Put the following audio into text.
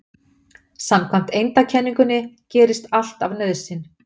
Samkvæmt eindakenningunni gerist allt af nauðsyn.